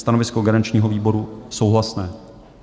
Stanovisko garančního výboru: souhlasné.